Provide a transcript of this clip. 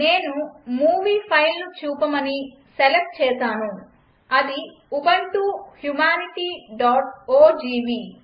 నేను మూవీ ఫైల్ను చూపమని సెలక్ట్ చేసాను అది ఉబుంటూ humanityఓజీవీ